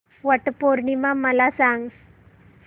वट पौर्णिमा मला सांग